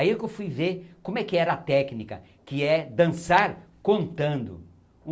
Aí que eu fui ver como é que era a técnica, que é dançar contando.